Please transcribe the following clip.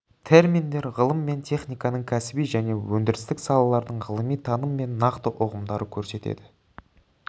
терминдер ғылым мен техниканың кәсіби және өндірістік салалардың ғылыми таным мен нақты ұғымдарды көрсетеді